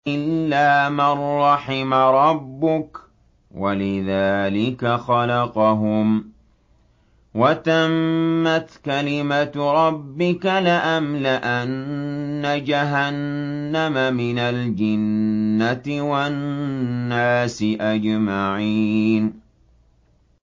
إِلَّا مَن رَّحِمَ رَبُّكَ ۚ وَلِذَٰلِكَ خَلَقَهُمْ ۗ وَتَمَّتْ كَلِمَةُ رَبِّكَ لَأَمْلَأَنَّ جَهَنَّمَ مِنَ الْجِنَّةِ وَالنَّاسِ أَجْمَعِينَ